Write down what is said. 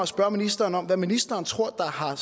spørge ministeren om hvad ministeren tror der har